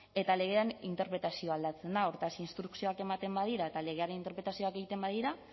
eta legearen interpretazioa aldatzen da hortaz instrukzioak eamten badira eta legearen interpretazioak egiten badira